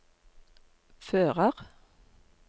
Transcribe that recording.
fører